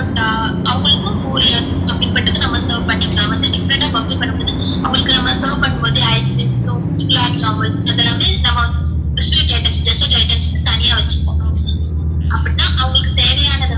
பரோட்டா அவங்களுக்கும் பூரி அப்டிபட்டது நம்ம serve பண்ணிக்கலாம் வந்து different puffey ஆ பண்ணும் போது அவங்களுக்கு நம்ம serve பண்ணும் போதே ice creams gulab jamun அது எல்லாமே நம்ம வந்து desert items னு தனியா வச்சிக்குவோம் அப்டினா அவங்களுக்கு தேவையானது